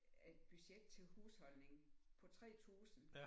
Et budget til husholdning på 3000